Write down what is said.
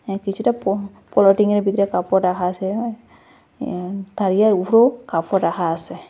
কিছুটা প পলিথিনের ভিতরে কাপড় রাখা আসে এ তারিয়ার উফরেও কাপড় রাখা আসে।